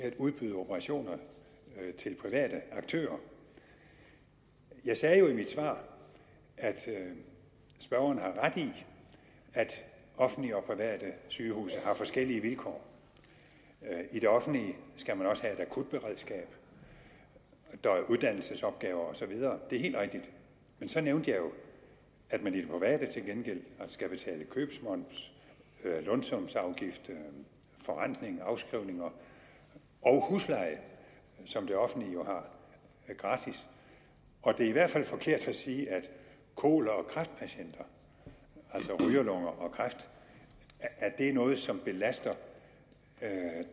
at udbyde operationer til private aktører jeg sagde jo i mit svar at spørgeren har ret i at offentlige og private sygehuse har forskellige vilkår i det offentlige skal man også have et akutberedskab og der er uddannelsesopgaver og så videre det er helt rigtigt men så nævnte jeg at man i det private til gengæld skal betale købsmoms lønsumsafgift forrentning afskrivninger og husleje som det offentlige jo har gratis og det er i hvert fald forkert at sige at kol og kræftpatienter altså rygerlunger og kræft er noget som belaster